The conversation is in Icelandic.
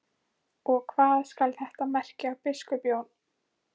Og hvað skal þetta merkja, biskup Jón?